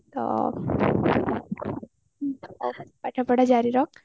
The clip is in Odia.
ପାଠପଢା ଜରିରଖ